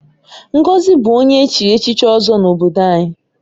Ngozi bụ onye echiri echichi Ozo n'obodo anyị.